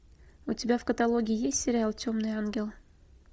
у тебя в каталоге есть сериал темный ангел